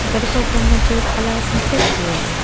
घर ऊपर में दो काला सिंटेक्स भी है।